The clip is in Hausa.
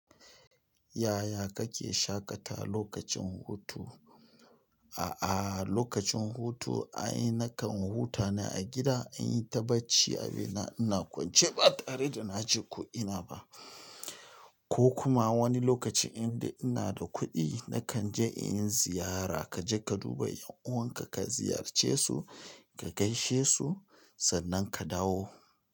Yaya kake shaƙata lokacin hutu? A'a, lokacin hutu ai nakan huta ne a gida, in yi ta bacci, abina ina kwance ba tare da na ji ko ina ba. Ko kuma wani lokaci indai ina da kudi nna kanje in ziyara kaje ka duba yan uwanka ka ziyarce su sannan ka dawo.